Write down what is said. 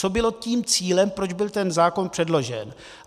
Co bylo tím cílem, proč byl ten zákon předložen.